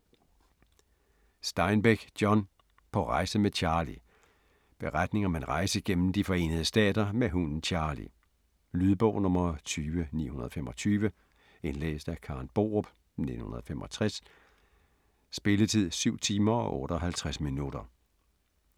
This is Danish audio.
Steinbeck, John: På rejse med Charley Beretning om en rejse gennem De Forenede Stater med hunden Charley. Lydbog 20925 Indlæst af Karen Borup, 1965. Spilletid: 7 timer, 58 minutter.